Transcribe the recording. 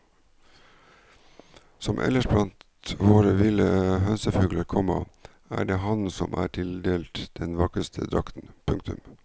Som ellers blant våre ville hønsefugler, komma er det hannen som er tildelt den vakreste drakten. punktum